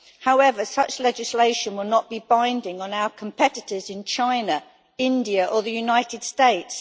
However, such legislation will not be binding on our competitors in China, India or the United States.